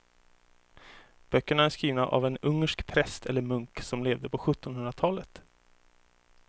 Böckerna är skrivna av en ungersk präst eller munk som levde på sjuttonhundratalet.